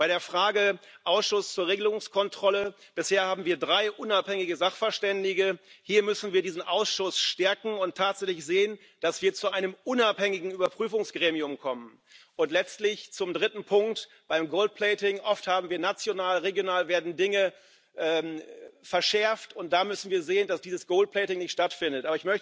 Bei der Frage Ausschuss zur Regelungskontrolle Bisher haben wir drei unabhängige Sachverständige hier müssen wir diesen Ausschuss stärken und tatsächlich sehen, dass wir zu einem unabhängigen Überprüfungsgremium kommen. Und letztlich zum dritten Punkt Beim gold plating oft werden national, regional Dinge verschärft, und da müssen wir sehen, dass dieses gold plating nicht stattfindet.